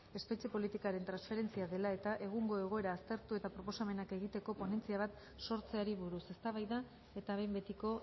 espetxe politikaren transferentzia dela eta egungo egoera aztertu eta proposamenak egiteko ponentzia bat sortzeari buruz eztabaida eta behin betiko